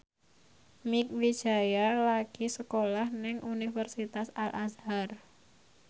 Mieke Wijaya lagi sekolah nang Universitas Al Azhar